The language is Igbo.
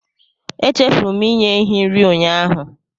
Echefuru m inye ehi nri ụnyaahụ